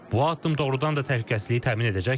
Bu addım doğurdan da təhlükəsizliyi təmin edəcək?